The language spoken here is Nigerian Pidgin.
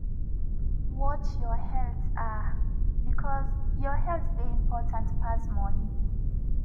watch your health um because your health dey important pass money